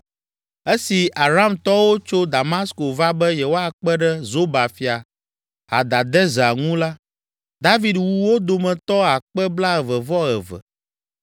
Esi Aramtɔwo tso Damasko va be yewoakpe ɖe Zoba fia Hadadezer ŋu la, David wu wo dometɔ akpe blaeve-vɔ-eve (22,000).